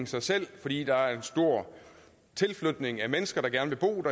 sig selv fordi der er en stor tilflytning af mennesker der gerne vil bo